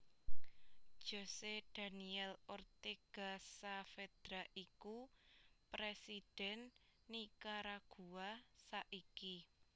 José Daniel Ortega Saavedra iku Presidhèn Nikaragua saiki